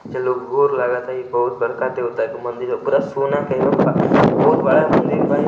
वोर लगाता ई बहुत बड़का देवता के मंदिर है पूरा सोना के बहुत बड़ा मंदिर बा ई।